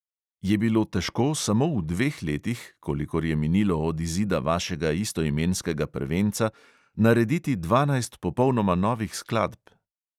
Je bilo težko samo v dveh letih, kolikor je minilo od izida vašega istoimenskega prvenca, narediti dvanajst popolnoma novih skladb?